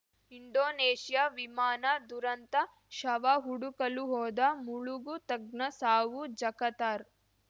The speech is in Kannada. ಇಂಡೋನೇಷ್ಯಾ ವಿಮಾನ ದುರಂತ ಶವ ಹುಡುಕಲು ಹೋದ ಮುಳುಗು ತಜ್ಞ ಸಾವು ಜಕತಾರ್